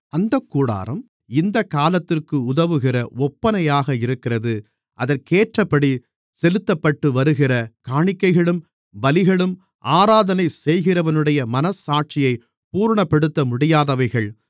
அந்தக் கூடாரம் இந்தக் காலத்திற்கு உதவுகிற ஒப்பனையாக இருக்கிறது அதற்கேற்றபடி செலுத்தப்பட்டுவருகிற காணிக்கைகளும் பலிகளும் ஆராதனை செய்கிறவனுடைய மனச்சாட்சியைப் பூரணப்படுத்தமுடியாதவைகள்